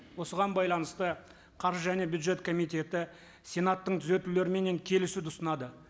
осыған байланысты қаржы және бюджет комитеті сенаттың түзетулеріменен келісуді ұсынады